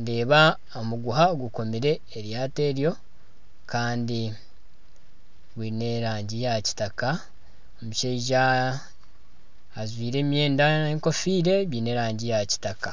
Ndeeba omuguha gukomire eryaato eryo kandi gwiine erange ya kitaka. Omushaija ajwire emwenda nana enkofiira biine erangi ya kitaka.